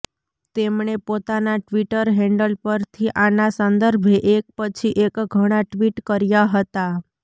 તેમણે પોતાના Twitter handle પરથી આના સંદર્ભે એક પછી એક ઘણાં ટ્વિટ કર્યા હતા